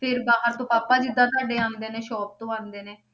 ਫਿਰ ਬਾਹਰ ਤੋਂ ਪਾਪਾ ਜਿੱਦਾਂ ਤੁਹਾਡੇ ਆਉਂਦੇ ਨੇ shop ਤੋਂ ਆਉਂਦੇ ਨੇ,